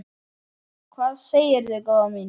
Hvað segirðu góða mín?